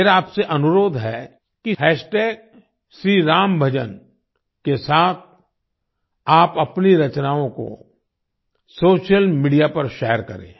मेरा आपसे अनुरोध है कि हैशटैग श्री राम भजन श्रीरामभजन के साथ आप अपनी रचनाओं को सोशल मीडिया पर शेयर करें